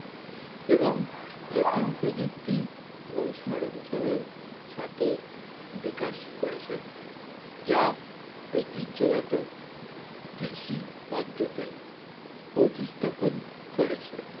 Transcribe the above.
এবং নতুন প্রযুক্তি এবং সরমজমের সাথে বিকাশ করেছে যা ঐতিহ্যমতো বেশি পদ্ধতি প্রতিস্থাপন করেছে